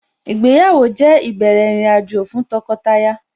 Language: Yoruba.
Ìgbéyàwó jẹ́ ìbẹ̀rẹ̀ ìrìnàjò fún tọkọtaya